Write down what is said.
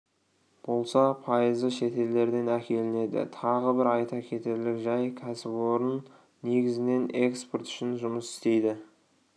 болса пайызы шетелдерден әкелінеді тағы бір айта кетерлік жай кәсіпорын негізінен экспорт үшін жұмыс істейді